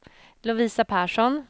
Lovisa Persson